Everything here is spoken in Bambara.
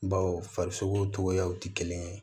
Baw farisoko cogoyaw tɛ kelen ye